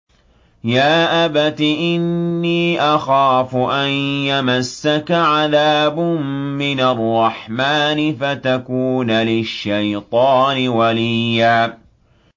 يَا أَبَتِ إِنِّي أَخَافُ أَن يَمَسَّكَ عَذَابٌ مِّنَ الرَّحْمَٰنِ فَتَكُونَ لِلشَّيْطَانِ وَلِيًّا